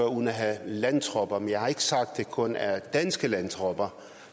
uden at have landtropper men jeg har ikke sagt at det kun er danske landtropper